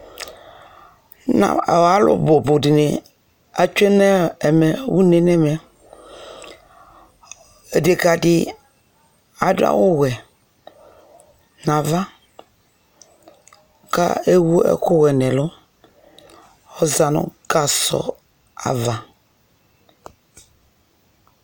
alo bo bo di ni atsue no ɛmɛ une no ɛmɛ odeka di ado awu wɛ no ava ko ewu ɛku wɛ no ɛlu ɔza no gasɔ ava